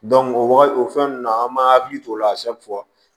o waga o fɛn nunnu na an m'an hakili t'o la fɔ